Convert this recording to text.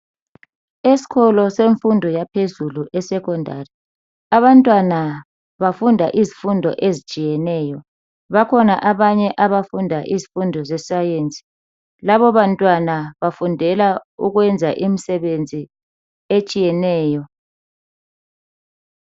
Esikolo semfundo yaphezulu esecondary abantwana bafunda izifundo ezitshiyeneyo bakhona abanye abafunda izifundo zesayensi labo bantwana bafundela ukwenza imsebenzi etshiyeneyo.